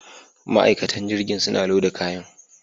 Ma'aikatan jirgin suna loda kayan.